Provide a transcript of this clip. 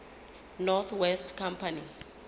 north west company